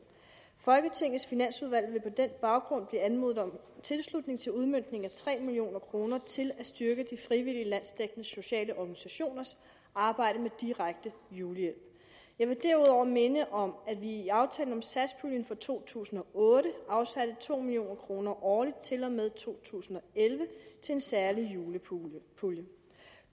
folketingets finansudvalg vil på den baggrund blive anmodet om tilslutning til udmøntningen af tre million kroner til at styrke de frivillige landsdækkende sociale organisationers arbejde med direkte julehjælp jeg vil derudover minde om at vi i aftalen om satspuljen for to tusind og otte afsatte to million kroner årligt til og med to tusind og elleve til en særlig julepulje